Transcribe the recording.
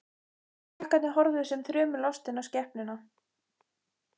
Krakkarnir horfðu sem þrumulostin á skepnuna.